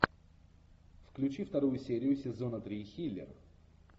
включи вторую серию сезона три хилер